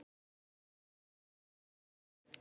Ummæli ómerkt